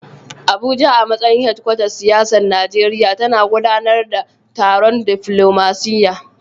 Abuja, a matsayin hedkwatar siyasar Najeriya, tana gudanar da taron diflomasiyya.